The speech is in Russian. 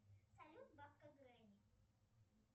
салют бабка гренни